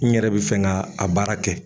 N yɛrɛ bi fɛn ga a baara kɛ